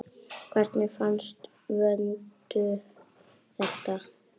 Hvernig fannst Vöndu þetta?